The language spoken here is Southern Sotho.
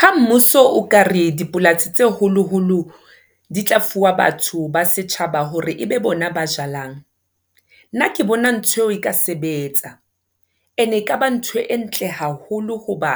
Ha mmuso o ka re dipolasi tse holoholo di tla fuwa batho ba setjhaba hore ebe bona ba jalang. Nna ke bona ntho eo e ka sebetsa ene e kaba ntho e ntle haholo hoba